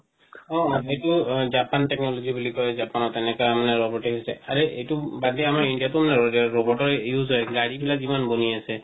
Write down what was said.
অ অ সেইটো Japan technology বুলি কয় জাপানত তেনেকা robot এ হৈছে আৰে এটো বাদে আমাৰ India ত robot ৰ use হয় গাড়ি বিলাক যিমান ৱনি আছে